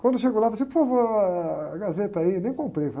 Quando eu chego lá, eu falo assim, por favor, ah, a Gazeta aí, nem comprei.